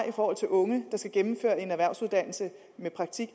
i forhold til unge der skal gennemføre en erhvervsuddannelse med praktik